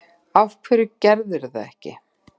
Af hverju gerðirðu það ekki?